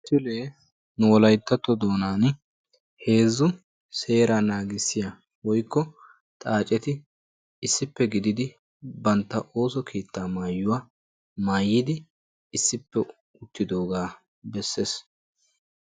misilee nu wolayttatto doonan heezzu seeraa naagissiya woyikko xaaceti issippe gididi bantta ooso keettaa mayuwa mayyidi issippe uttidoogaa besses.